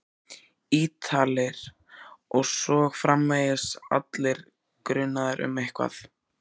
Ítalir. og svo framvegis, allir grunaðir um eitthvað.